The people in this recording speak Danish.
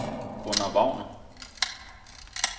Gunnar Wagner